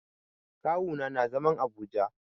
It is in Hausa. Kawu na nà zaman Abuja.